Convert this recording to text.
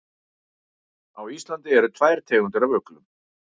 Á Íslandi eru tvær tegundir af uglum.